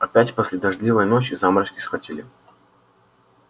опять после дождливой ночи заморозки схватили